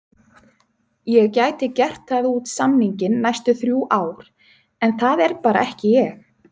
Ég gæti gert það út samninginn næstu þrjú ár en það er bara ekki ég.